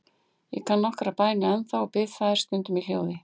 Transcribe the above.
Ég kann nokkrar bænir ennþá og bið þær stundum í hljóði.